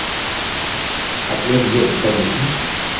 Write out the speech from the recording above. अपने लिए उत्तर देखें